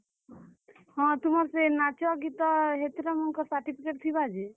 ହଁ, ତୁମର ସେ ନାଚ, ଗୀତ ହେତରର୍ ମାନଙ୍କର certificate ଥିବା ଯେ।